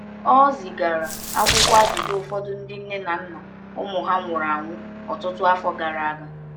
Ọ zigara akwụkwọ ajụjụ ụfọdụ ndị ndị nne na nna ụmụ ha nwụrụ ọtụtụ afọ gara aga.